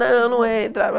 Não, não entra.